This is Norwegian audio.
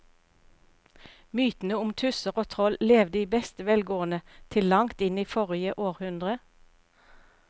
Mytene om tusser og troll levde i beste velgående til langt inn i forrige århundre.